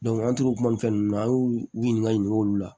an tor'o kuma ninnu na an y'u u ɲininka ɲininkaliw la